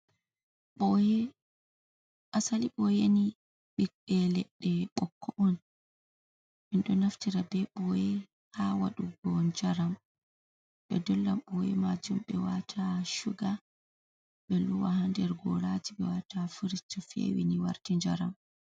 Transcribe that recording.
Ɓoye, asali ɓoyeni ɓiɓɓe leɗɗe ɓokko on. En ɗo naftira be ɓoye ha waɗugo njaram, ɓe dolla ɓoye majum ɓe wata shuga, ɓe lowa ha nder goraji, ɓe wata ha firij to fewi ni warti njaram.